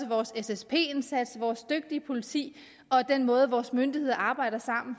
vores ssp indsats vores dygtige politi og den måde vores myndigheder arbejder sammen